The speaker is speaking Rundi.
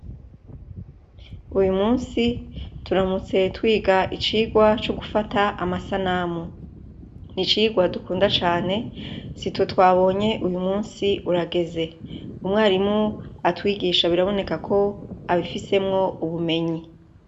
Uyu musi turamutse twiga icigwa c'ugufata amasanamu. Ni icigwa dukunda cane. Sitwe twabonye uyu musi urageze. Umwarimu atwigisha biraboneka ko abifisemwo ubumenyi.